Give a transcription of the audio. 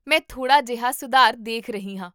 ਮੈਂ ਥੋੜ੍ਹਾ ਜਿਹਾ ਸੁਧਾਰ ਦੇਖ ਰਹੀ ਹਾਂ